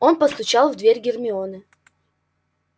он постучал в дверь гермионы